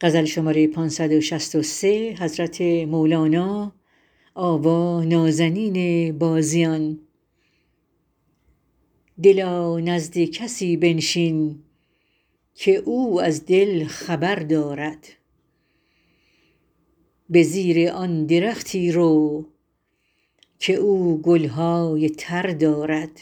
دلا نزد کسی بنشین که او از دل خبر دارد به زیر آن درختی رو که او گل های تر دارد